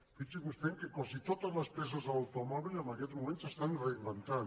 fixin se vostès que quasi totes les peces de l’automòbil en aquests moments s’estan reinventant